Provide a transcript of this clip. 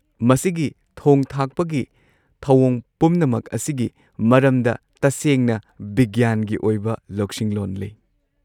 ꯃꯁꯤꯒꯤ ꯊꯣꯡ-ꯊꯥꯛꯄꯒꯤ ꯊꯧꯑꯣꯡ ꯄꯨꯝꯅꯃꯛ ꯑꯁꯤꯒꯤ ꯃꯔꯝꯗ ꯇꯁꯦꯡꯅ ꯕꯤꯒ꯭ꯌꯥꯟꯒꯤ ꯑꯣꯏꯕ ꯂꯧꯁꯤꯡꯂꯣꯟ ꯂꯩ꯫